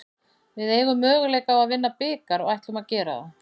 Við eigum möguleika á að vinna bikar og ætlum að gera það.